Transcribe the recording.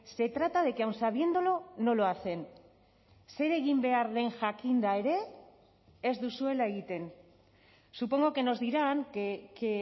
se trata de que aun sabiéndolo no lo hacen zer egin behar den jakinda ere ez duzuela egiten supongo que nos dirán que